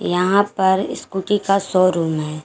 यहां पर स्कूटी का शोरूम है।